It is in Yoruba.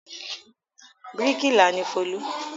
Bíríkìlà ni Folú.